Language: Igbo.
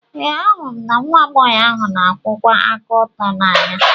Ee, ahụrụ m nwa agbọghọ ahụ na-akwụwa aka ọtọ n'anya.